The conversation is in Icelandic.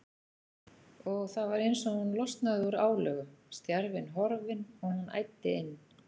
Og það var eins og hún losnaði úr álögum, stjarfinn horfinn, og hún æddi inn.